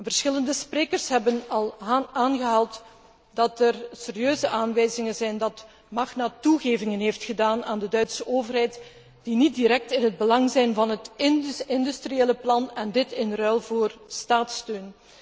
Verschillende sprekers hebben al aangehaald dat er serieuze aanwijzingen zijn dat Magna toegevingen heeft gedaan aan de Duitse overheid die niet direct in het belang zijn van het industriële plan in ruil voor staatssteun.